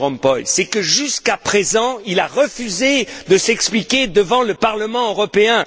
Van Rompuy, c'est que, jusqu'à présent, il a refusé de s'expliquer devant le Parlement européen.